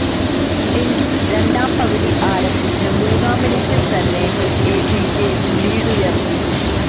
എങ്കിലും രണ്ടാം പകുതി ആരംഭിച്ച് മൂന്നാം മിനിറ്റില് തന്നെ എടികെ ലീഡുയര്ത്തി